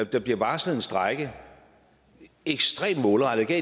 der bliver varslet en strejke ekstremt målrettet jeg